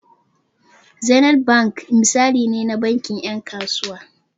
Zenith bank misali ne na bankin ƴan kasuwa.